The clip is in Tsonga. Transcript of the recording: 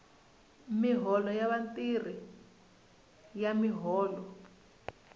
miholo ya vatirhi ya miholo